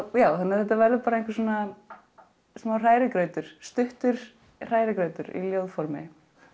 já þannig að þetta verður einhver smá hrærigrautur stuttur hrærigrautur í ljóðformi en